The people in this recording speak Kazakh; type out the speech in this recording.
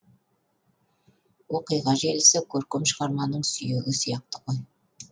оқиға желісі көркем шығарманың сүйегі сияқты ғой